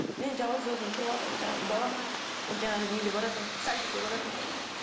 мен жалғыз өзім тұрыватырмын жаңағы балам жаңағы неге баратын садикке баратын